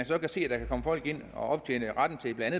så kan se at der kan komme folk ind og optjene ret til blandt